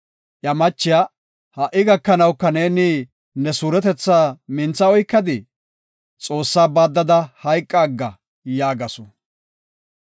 Iya machiya, “Ha77i gakanawuka neeni ne suuretetha mintha oykadii? Xoossaa baaddada hayqaaga” yaagasu.